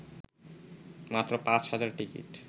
মাত্র ৫ হাজার টিকিট